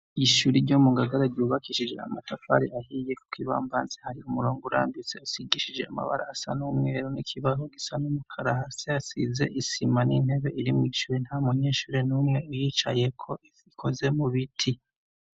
Ishuri ryo mugagaraga ubakishije amatafari ahiye, kuko ibambanzi hari umurongo urambitse asigishije amabara asa n'umweru n'ikibaho gisa n'umukara hasi hasize isima n'intebe irimw'icure nta munyenshure n'umwe yicaye ko ikoze mu biti.